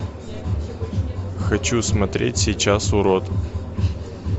хочу смотреть сейчас урод